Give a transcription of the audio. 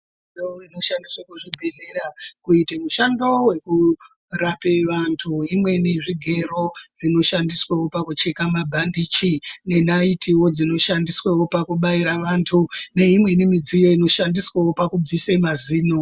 Midziyo inoshandiswe muzvibhedhleya kuite mishando yekurape vantu, imweni zvigero zvinoshandiswewo pakucheka mabhandichi, nenayitiwo dzinoshandiswewo pakubaira vantu neimweni midziyo inoshandiswewo pakubvise mazino.